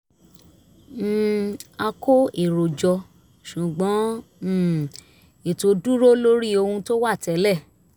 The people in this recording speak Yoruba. um a kó èrò jọ ṣùgbọ́n um ètò dúró lórí ohun tó wà tẹ́lẹ̀